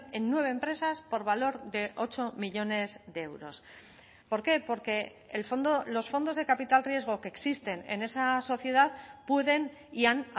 en nueve empresas por valor de ocho millónes de euros por qué porque el fondo los fondos de capital riesgo que existen en esa sociedad pueden y han